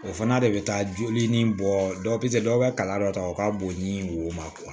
O fana de bɛ taa joli ni bɔ dɔw tɛ dɔ bɛ kala dɔ ta o ka bon ni wo ma